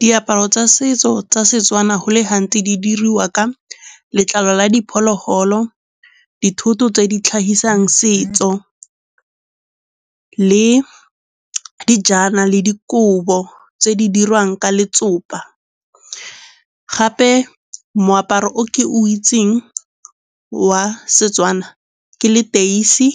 Diaparo tsa setso tsa Setswana go le gantsi di dirwa ka letlalo la diphologolo, dithoto tse di tlhagisang setso le dijana le dikobo tse di dirwang ka letsopa. Gape moaparo o ke o itseng wa Setswana ke leteisi,